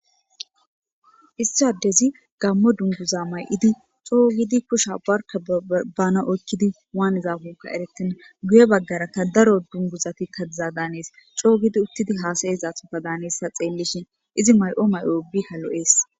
issi adezi gammo dunguza may7idi coo gidi kusha barka bana oykkidi waanidakonka erettenna guye baggarakka daro dunguzati kazza daanees coo gidi uttidi haasayes athoka daanees tha xeellishin izi may7o may7o ubika lo7ees.